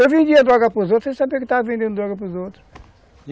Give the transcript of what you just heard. Eu vendia droga para os outros sem saber que estava vendendo droga para os outros.